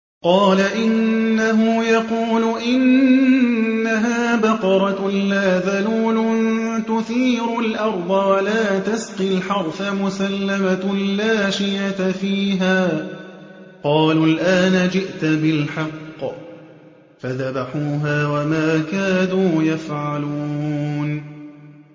قَالَ إِنَّهُ يَقُولُ إِنَّهَا بَقَرَةٌ لَّا ذَلُولٌ تُثِيرُ الْأَرْضَ وَلَا تَسْقِي الْحَرْثَ مُسَلَّمَةٌ لَّا شِيَةَ فِيهَا ۚ قَالُوا الْآنَ جِئْتَ بِالْحَقِّ ۚ فَذَبَحُوهَا وَمَا كَادُوا يَفْعَلُونَ